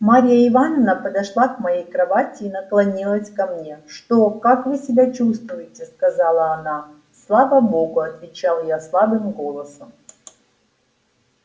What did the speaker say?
марья ивановна подошла к моей кровати и наклонилась ко мне что как вы себя чувствуете сказала она слава богу отвечал я слабым голосом